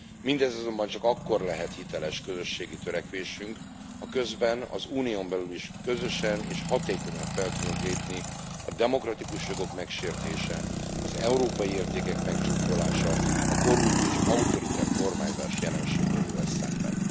Mindez azonban csak akkor lehet hiteles közösségi törekvésünk, ha közben az Unión belül is közösen és hatékonyan fel tudunk lépni a demokratikus jogok megsértése, az európai értékek megcsúfolása, a korrupt és autoriter kormányzás jelenségeivel szemben.